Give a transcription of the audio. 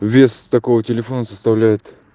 вес такого телефона составляет